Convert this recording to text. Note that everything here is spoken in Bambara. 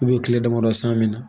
tile damadɔ san min na